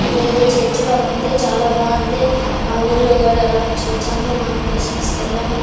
ఇదేదో చర్చ్ లాగుంది. చాలా బాగుంది. మా ఊళ్ళో కూడా ఇలాంటి చర్చ్ ఉంది. మొన్న క్రిస్మస్ కెళ్ళాము.